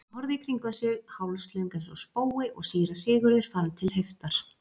Hún horfði í kringum sig hálslöng eins og spói og síra Sigurður fann til heiftar.